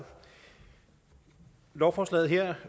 lovforslaget her